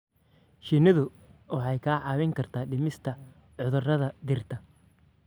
Shinnidu waxay kaa caawin kartaa dhimista cudurrada dhirta.